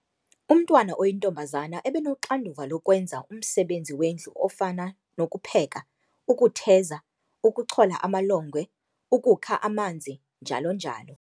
Umntwana oyintombaza ebenoxanduva lokwenza umsebenzi wendlu ofana nokupheka, ukutheza, ukuchola amalongwe, ukukha amanzi njalo-njalo.